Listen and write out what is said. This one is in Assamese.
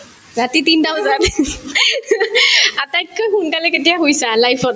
ৰাতি তিনটা বজাত আটাইতকৈ সোনকালে কেতিয়া শুইছা life ত